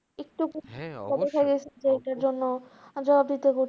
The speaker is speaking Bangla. একটু এটার জন্য,